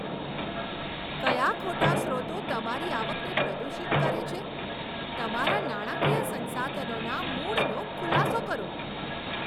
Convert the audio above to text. કયા ખોટા સ્રોતો તમારી આવકને પ્રદૂષિત કરે છે? તમારા નાણાકીય સંસાધનોના મૂળનો ખુલાસો કરો.